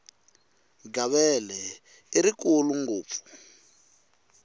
gavele i rikulu ngopfu